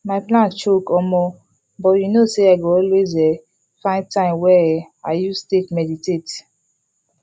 my plan choke omo but you know say i go always um find time wey um i use take meditate